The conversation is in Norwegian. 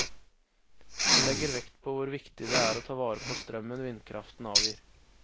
Han legger vekt på hvor viktig det er å ta vare på strømmen vindkraften avgir.